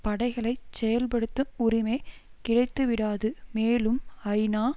படைகளைச் செயல்படுத்தும் உரிமை கிடைத்துவிடாது மேலும் ஐநா